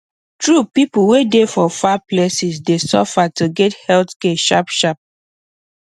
true people wey dey for far places dey suffer to get health care sharp sharp